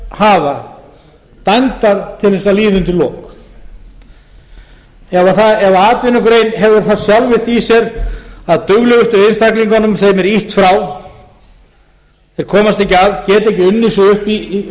hafa dæmdar til að líða undir lok ef atvinnugrein hefur það sjálfvirkt í sér að duglegustu einstaklingunum er ýtt frá þeir komast ekki að geta ekki unnið sig upp í